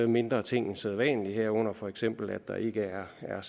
mindre ting end sædvanlig herunder for eksempel at der ikke er er